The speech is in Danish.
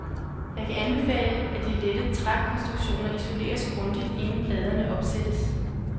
Jeg kan anbefale, at de lette trækonstruktioner isoleres grundigt, inden pladerne opsættes.